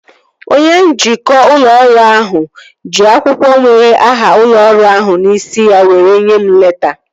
Onye njikwa ụlọ ọrụ ahụ ji akwụkwọ nwere aha ụlọ ọrụ ahụ n'isi ya were nyee m leta